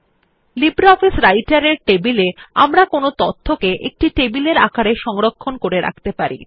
LibreOffice রাইটের এর টেবিলে আমরা তথ্যকে একটি টেবিলের আকারে সংরক্ষণ করে রাখতে পারি